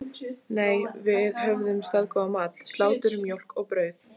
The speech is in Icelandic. Nei, við höfðum staðgóðan mat: Slátur, mjólk og brauð.